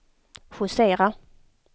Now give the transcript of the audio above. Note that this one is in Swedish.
justera